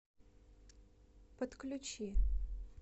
подключи